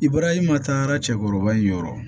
I bɔra i ma taa cɛkɔrɔba in yɔrɔ